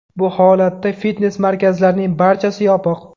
Bu holatda fitnes-markazlarning barchasi yopiq.